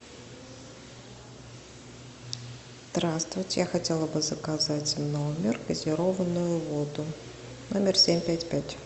здравствуйте я хотела бы заказать в номер газированную воду номер семь пять пять